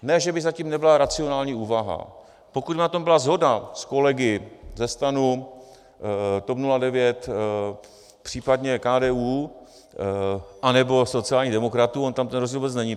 Ne že by za tím nebyla racionální úvaha, pokud by na tom byla shoda s kolegy ze STAN, TOP 09, případně KDU anebo sociálních demokratů, on tam ten rozdíl vůbec není.